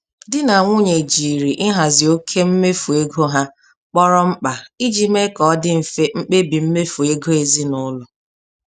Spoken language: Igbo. Di na nwunye jiri ihazi oke mmefu ego ha kpọrọ mkpa iji mee ka ọ dị mfe mkpebi mmefu ego ezinụlọ.